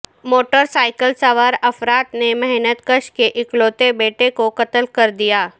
motor cycle سوار افراد نے محنت کش کے اکلوتے بیٹے کو قتل کردیا